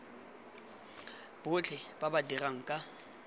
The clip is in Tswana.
botlhe ba ba dirang ka